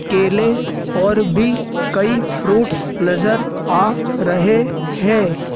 केले और भी कई फ्रूट्स नजर आ रहे हैं।